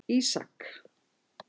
Ísak